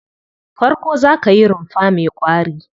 Farko za ka yi rumfa mai ƙwari.